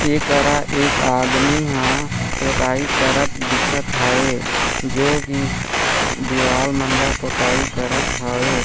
एक अरा एक आदमी हा पोताई करत दिखत हवे जो की दिवाल मतलब पोताई करत हवे।